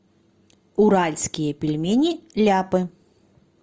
уральские пельмени ляпы